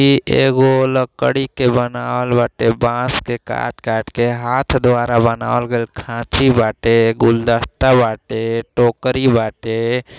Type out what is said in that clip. ई एगो लकड़ी के बनावल बाटे। बांस के काट काट के हाथ द्वारा बनावल गइल खाची बाटे। गुलदस्ता बाटे। टोकरी बाटे।